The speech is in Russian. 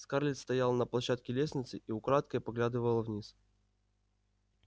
скарлетт стояла на площадке лестницы и украдкой поглядывала вниз